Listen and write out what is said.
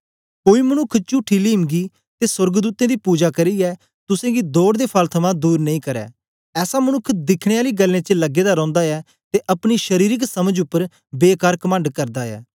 कोई मनुक्ख चुठी लीमंगी ते सोर्गदूतें दी पुजा करियै तुसेंगी दौड़ दे फल थमां दूर नेई करै ऐसा मनुक्ख दिखने आली गल्लें च लगे दा रौंदा ऐ ते अपनी शरीरिक समझ उपर बेकार कमंड करदा ऐ